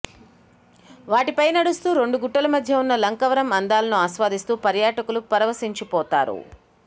వాటిపై నడుస్తూ రెండు గుట్టల మధ్య ఉన్న లక్నవరం అందాలను ఆస్వాదిస్తూ పర్యాటకులు పరవశించిపోతారు